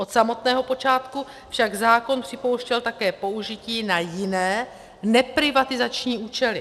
Od samotného počátku však zákon připouštěl také použití na jiné neprivatizační účely.